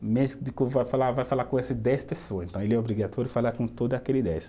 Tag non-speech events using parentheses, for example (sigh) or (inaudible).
O médico (unintelligible) vai falar, vai falar com esse dez pessoas, então ele é obrigatório falar com todo aquele dez